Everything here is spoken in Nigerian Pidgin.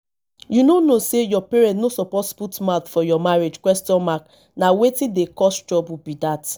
you no know say your parents no suppose put mouth for your marriage question mark na wetin dey cause trouble be dat